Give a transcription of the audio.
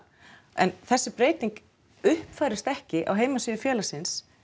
en þessi breyting uppfærist ekki á heimasíðu félagsins